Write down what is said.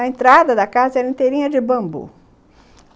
A entrada da casa era inteirinha de bambu.